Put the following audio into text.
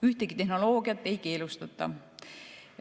Ühtegi tehnoloogiat ei keelustata.